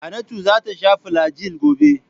Hannatu za ta sha filajil gobe.